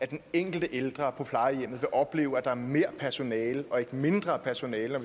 den enkelte ældre på plejehjem opleve at der er mere personale og ikke mindre personale